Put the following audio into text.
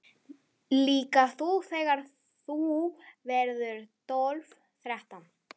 Líka þú þegar þú verður tólf, þrettán.